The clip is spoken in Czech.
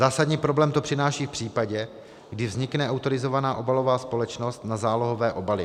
Zásadní problém to přináší v případě, kdy vznikne autorizovaná obalová společnost na zálohované obaly.